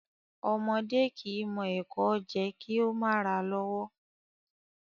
Ọmọdẹ́ kìí mọ ẹ̀kọ jẹ kìí o ma ra lọ́wọ́'